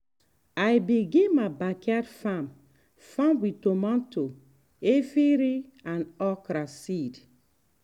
i begin my backyard farm farm with tomato efirin and okra seed.